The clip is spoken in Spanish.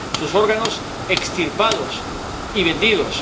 sus órganos, extirpados y vendidos